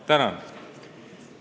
Tänan!